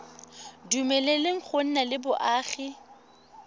dumeleleng go nna le boagi